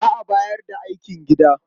Za a bayar da aikin gida.